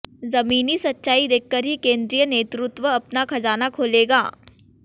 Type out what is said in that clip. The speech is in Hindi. जमीनी सच्चाई देखकर ही केंद्रीय नेतृत्व अपना खजाना खोलेगा